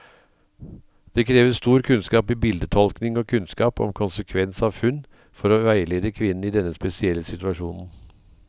Det krever stor kunnskap i bildetolkning og kunnskap om konsekvens av funn, for å veilede kvinnen i denne spesielle situasjonen.